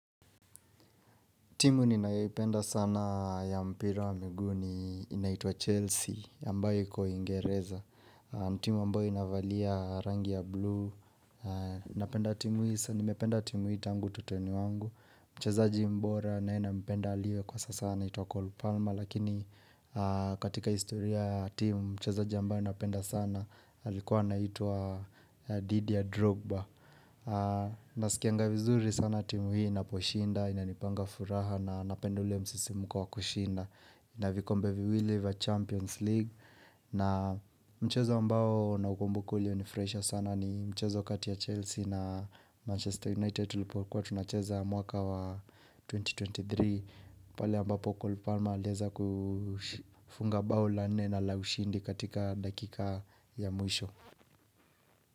Timu ninayoipenda sana ya mpira wa miguu ni inaitwa Chelsea, ambayo iko uingereza. Timu ambayo inavalia rangi ya blue. Napenda timu hii tangu utoto ni wangu. Mchezaji mbora na ninaempenda aliye kwa sasa anaitwa Cole palmer. Lakini katika istoria timu, mchezaji ambaye napenda sana alikuwa anaitwa Didia Drogba. Na sikia nga vizuri sana timu hii inaposhinda, inanipanga furaha na napenda ule msisimuko wa kushinda Inavikombe viwili wa Champions League na mchezo ambao naukumbuka ulio ni fraisha sana ni mchezo kati ya Chelsea na Manchester United Kwa tunacheza mwaka wa 2023 pale ambapo Col Palma alieza kufunga bao la nne na la ushindi katika dakika ya mwisho.